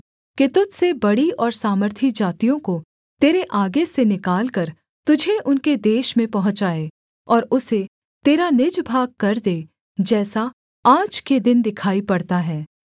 कि तुझ से बड़ी और सामर्थी जातियों को तेरे आगे से निकालकर तुझे उनके देश में पहुँचाए और उसे तेरा निज भागकर दे जैसा आज के दिन दिखाई पड़ता है